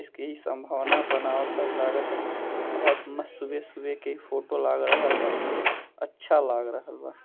इसके ही संभावना बनवाता लागता बहुत मस्त सुभे-सुभे के फोटो लग रहाल बा अच्छा लाग रहाल बा।